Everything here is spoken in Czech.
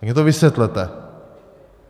Tak mně to vysvětlete.